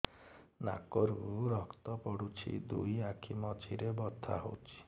ନାକରୁ ରକ୍ତ ପଡୁଛି ଦୁଇ ଆଖି ମଝିରେ ବଥା ହଉଚି